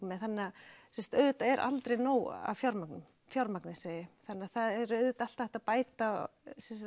með þannig að auðvitað er aldrei nóg af fjármagni fjármagni þannig það er auðvitað alltaf hægt að bæta